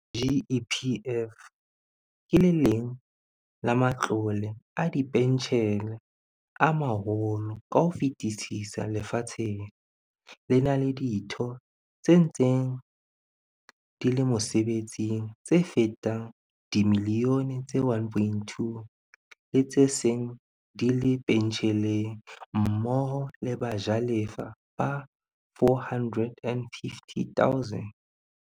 GEPF ke le leng la ma tlole a dipentjhele a maholo ka ho fetisisa lefatsheng, le na le ditho tse ntseng di le mosebetsing tse fetang dimilione tse 1.2, le tse seng di le pentjheleng mmoho le bajalefa ba 450 000.